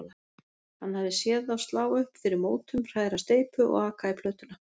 Hann hafði séð þá slá upp fyrir mótum, hræra steypu og aka í plötuna.